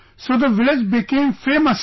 So the village became famous sir